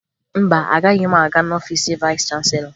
Mba, agaghị m aga n'ọfiisi vayịs chanselọ